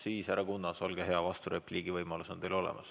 Siis, härra Kunnas, olge hea, vasturepliigi võimalus on teil olemas.